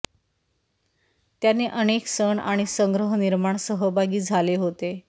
त्यांनी अनेक सण आणि संग्रह निर्माण सहभागी झाले होते